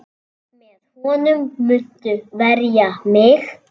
Með honum muntu verja mig.